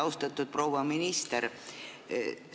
Austatud proua minister!